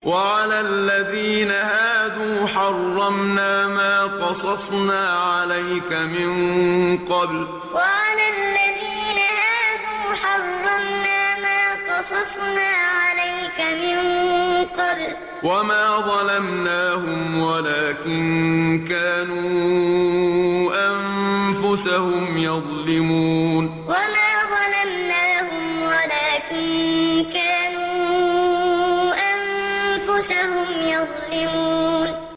وَعَلَى الَّذِينَ هَادُوا حَرَّمْنَا مَا قَصَصْنَا عَلَيْكَ مِن قَبْلُ ۖ وَمَا ظَلَمْنَاهُمْ وَلَٰكِن كَانُوا أَنفُسَهُمْ يَظْلِمُونَ وَعَلَى الَّذِينَ هَادُوا حَرَّمْنَا مَا قَصَصْنَا عَلَيْكَ مِن قَبْلُ ۖ وَمَا ظَلَمْنَاهُمْ وَلَٰكِن كَانُوا أَنفُسَهُمْ يَظْلِمُونَ